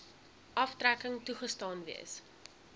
aftrekking toegestaan gewees